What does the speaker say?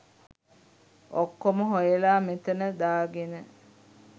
ඔක්කොම හොයලා මෙතන දාගෙන